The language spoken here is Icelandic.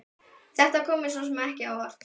Þetta kom mér svo sem ekki á óvart.